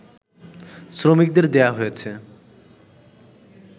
শ্রমিকদের দেয়া হয়েছে